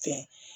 Kɛ